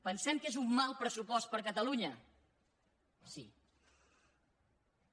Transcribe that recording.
pensem que és un mal pressupost per a catalunya sí